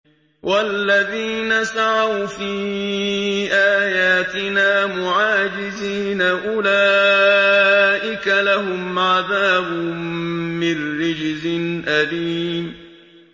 وَالَّذِينَ سَعَوْا فِي آيَاتِنَا مُعَاجِزِينَ أُولَٰئِكَ لَهُمْ عَذَابٌ مِّن رِّجْزٍ أَلِيمٌ